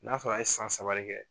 N'a sɔrɔ a ye san saba de kɛ